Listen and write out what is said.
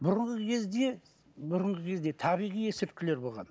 бұрынғы кезде бұрынғы кезде табиғи есірткілер болған